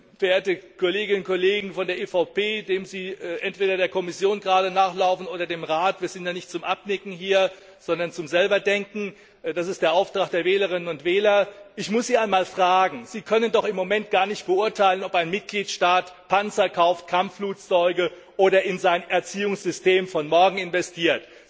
Verehrte Kolleginnen und Kollegen von der EVP die Sie gerade entweder der Kommission nachlaufen oder dem Rat wir sind ja nicht zum Abnicken hier, sondern zum selber Denken, das ist der Auftrag der Wählerinnen und Wähler ich muss Sie einmal fragen Sie können im Moment doch gar nicht beurteilen, ob ein Mitgliedstaat Panzer kauft, Kampfflugzeuge oder in sein Erziehungssystem von morgen investiert.